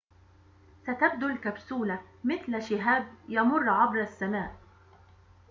ستبدو الكبسولة مثل شهاب يمر عبر السماء